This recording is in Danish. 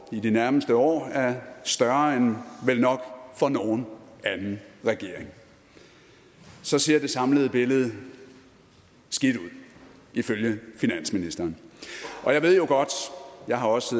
i de nærmeste år er større end vel nok for nogen anden regering så ser det samlede billede skidt ud ifølge finansministeren og jeg ved jo godt jeg har også